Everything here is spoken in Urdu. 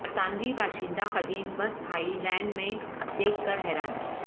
برطانوی باشندہ قدیم بس تھائی لینڈ میں دیکھ کر حیران